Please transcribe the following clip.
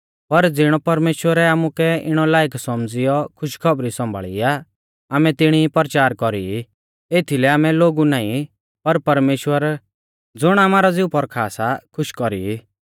पर ज़िणौ परमेश्‍वरै आमुकै इणै लायक सौमझ़ियौ खुशखौबरी सौंभाल़ी आ आमै तिणी ई परचार कौरी ई एथीलै आमै लोगु नाईं पर परमेश्‍वर ज़ुण आमारौ ज़िऊ पौरखा सा खुश कौरी ई